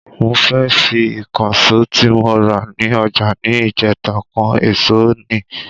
Mo fẹ́ fi Ìkànsó tí mo rà ní ọjà ni ìjèta kan ẹ̀sọ́ ni